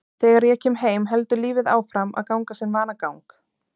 Þegar ég kem heim heldur lífið áfram að ganga sinn vanagang.